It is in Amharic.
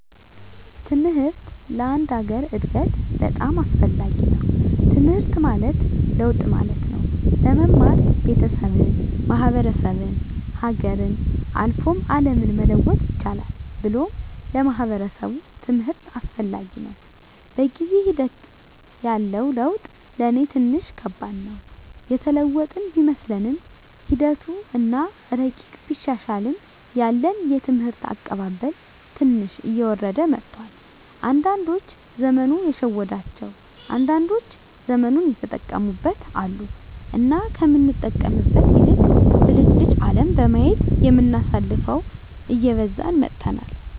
ትምሕርት ለአንድ ሀገር እድገት በጣም አስፈላጊ ነዉ። ትምሕርት ማለት ለውጥ ማለት ነው። በመማር ቤተሠብን፣ ማሕበረሰብን፣ ሀገርን፣ አልፎ አለምን መለወጥ ይቻላል ብሎም ለማሕበረሰቡ ትምህርት አስፈላጊ ነው። በጊዜ ሒደት ያለው ለውጥ ለኔ ትንሽ ከባድ ነው። የተለወጥን ቢመስለንምሒደቱ አና እረቂቁ ቢሻሻልም ያለን የትምህርት አቀባበል ትንሽ እየወረደ መጥቷል። አንዳዶች ዘመኑ የሸወዳቸው አንዳንዶች ዘመኑን የተጠቀሙበት አሉ። እና ከምንጠቀምበት ይልቅ ብልጭልጭ አለም በማየት የምናሳልፈው እየበዛን መጥተናል።